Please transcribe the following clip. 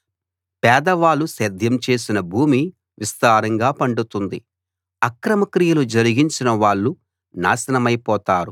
పేదవాళ్ళు సేద్యం చేసిన భూమి విస్తారంగా పండుతుంది అక్రమ క్రియలు జరిగించిన వాళ్ళు నాశనమైపోతారు